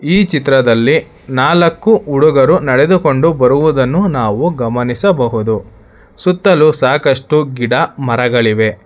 ಈ ಚಿತ್ರದಲ್ಲಿ ನಾಲಕ್ಕೂ ಹುಡುಗರು ನಡೆದುಕೊಂಡು ಬರುವುದನ್ನು ನಾವು ಗಮನಿಸಬಹುದು ಸುತ್ತಲು ಸಾಕಷ್ಟು ಗಿಡ ಮರಗಳಿವೆ.